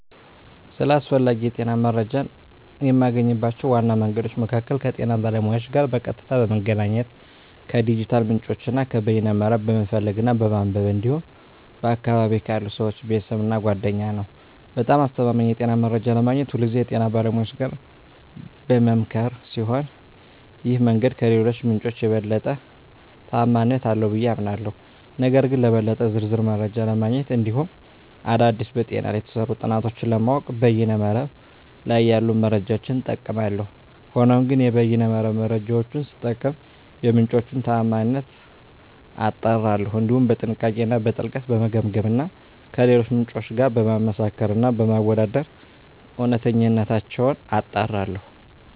ስለ አስፈላጊ የጤና መረጃን የማገኝባቸው ዋና መንገዶች መካከል ከጤና ባለሙያዎች ጋር በቀጥታ በመገናኘት፣ ከዲጂታል ምንጮች እና ከበይነ መረብ በመፈለግ እና በማንበብ እንዲሁም በአካባቢየ ካሉ ሰወች፣ ቤተሰብ እና ጓደኛ ነዉ። በጣም አስተማማኝ የጤና መረጃ ለማግኘት ሁልጊዜ ከጤና ባለሙያዎች ጋር በምመካከር ሲሆን ይህ መንገድ ከሌሎቹ ምንጮች የበለጠ ተአማኒነት አለው ብየ አምናለሁ። ነገር ግን ለበለጠ ዝርዝር መረጃ ለማግኘት እንዲሁም አዳዲስ በጤና ላይ የተሰሩ ጥናቶችን ለማወቅ በይነ መረብ ላይ ያሉ መረጃዎችን እጠቀማለሁ። ሆኖም ግን የበይነ መረብ መረጃወቹን ስጠቀም የምንጮቹን ታአማኒነት አጣራለሁ፣ እንዲሁም በጥንቃቄ እና በጥልቀት በመገምገም እና ከሌሎች ምንጮች ጋር በማመሳከር እና በማወዳደር እውነተኝነታቸውን አጣራለሁ።